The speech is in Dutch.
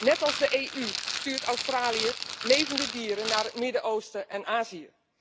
Net als de EU stuurt Australië levende dieren naar het Midden Oosten en Azië.